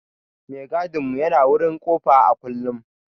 Mai gadin mu yana wurin kofa a kullum.